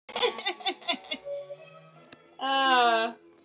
Óla, hvað er á innkaupalistanum mínum?